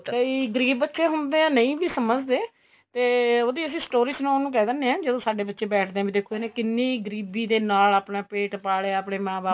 ਕਈ ਗਰੀਬ ਬੱਚੇ ਹੁੰਦੇ ਏ ਨਹੀਂ ਵੀ ਸਮਝਦੇ ਤੇ ਉਹਦੀ story ਸਣਾਉਣ ਨੂੰ ਕਹਿ ਦਿੰਦੇ ਆ ਜਦੋਂ ਸਾਡੇ ਬੱਚੇ ਬੈਠਦੇ ਏ ਵੀ ਦੇਖੋ ਇਹਨੇ ਕਿੰਨੀ ਗਰੀਬੀ ਦੇ ਨਾਲ ਆਪਣਾ ਪੇਟ ਪਾਲਿਆ ਆਪਣੇ ਮਾਂ ਬਾਪ